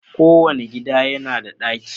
Kowane gida yana da ɗaki